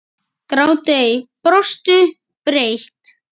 Gráttu ei. brostu breitt.